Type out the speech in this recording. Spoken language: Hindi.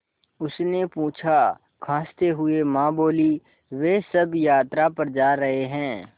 उसने पूछा खाँसते हुए माँ बोलीं वे सब यात्रा पर जा रहे हैं